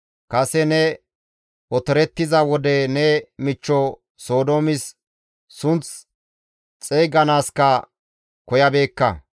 Kase ne otorettiza wode ne michcho Sodoomis sunth xeyganaaskka koyabeekka.